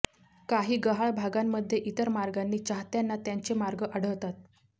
काही गहाळ भागांमध्ये इतर मार्गांनी चाहत्यांना त्यांचे मार्ग आढळतात